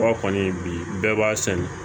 Ba kɔni bi bɛɛ b'a sɛnɛ